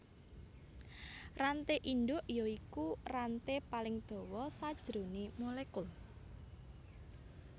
Ranté indhuk ya iku ranté paling dawa sajroné molekul